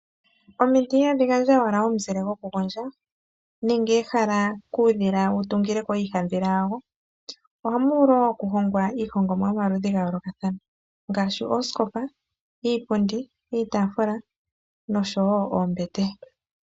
Omiti ihadhi gandja owala omuzile goku gondja, nenge ehala kuudhila wu tungileko iihadhila yawo. Ohamu vulu wo oku hongwa iihongomwa yomaludhi ga yoolokathana ngaashi oosikopa, iipundi, iitaafula noshowo oombete.